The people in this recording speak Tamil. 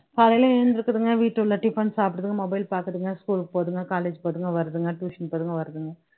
காலையில எழுந்திருக்குதுங்க வீட்டுள்ள tiffin சாப்பிடுதுங்க mobile பாக்குதுங்க school போகுதுங்க college போகுதுங்க வருதுங்க tuition போதுங்க வருதுங்க